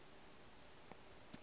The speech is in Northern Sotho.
o a tshedimo o e